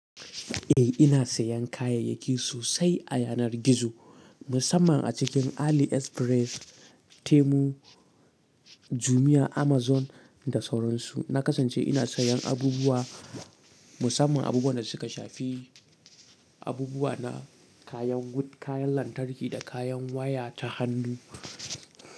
Eh ina sayan kayayyaki sosai a yanar gizo, musamman a cikin AliExpress, Temu, Jumia, Amazon da sauransu. Na kasance ina sayan abubuwa, musamman abubuwan da suka shafi abubuwa na kayan wut, kayan lantarki da kayan waya ta hannu.